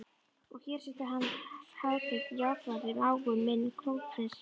Og hér situr Hans Hátign, Játvarður, mágur minn, krónprins Breta.